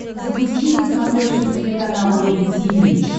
запусти на смотрешке телеканал рубль ти ви